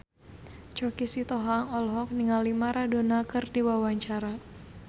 Choky Sitohang olohok ningali Maradona keur diwawancara